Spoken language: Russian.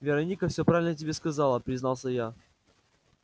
вероника всё правильно тебе сказала признался я